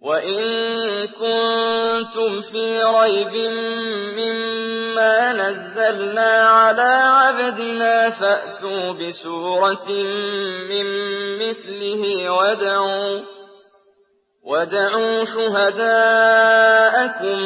وَإِن كُنتُمْ فِي رَيْبٍ مِّمَّا نَزَّلْنَا عَلَىٰ عَبْدِنَا فَأْتُوا بِسُورَةٍ مِّن مِّثْلِهِ وَادْعُوا شُهَدَاءَكُم